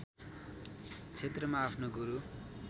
क्षेत्रमा आफ्नो गुरू